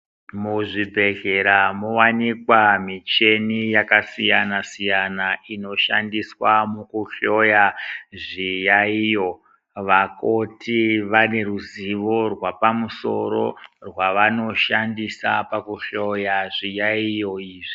Muzvibhedhlera mowanikwa micheni yakasiyana siyana inoshandiswa mukuhloya zviyaiyo vakoti vaneruzivo rwapamusoro rwavanoshandisa pakuhloya zviyaiyo izvi.